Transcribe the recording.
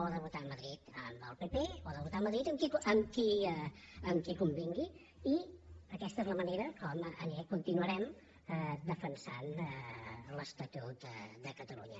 o de votar a madrid amb el pp o de votar a madrid amb qui convingui i aquesta és la manera com continuarem defensant l’estatut de catalunya